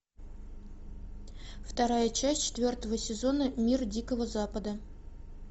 вторая часть четвертого сезона мир дикого запада